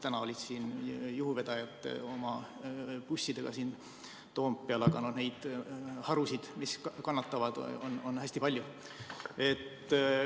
Täna olid juhuvedajad oma bussidega Toompeal, aga neid harusid, mis kannatavad, on hästi palju.